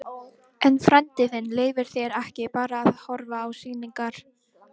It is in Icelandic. En frændi þinn leyfir þér ekki bara að horfa á sýningar.